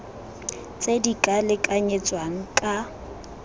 tse di ka lekanyetswang ka